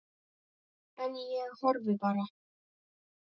En ég horfði bara.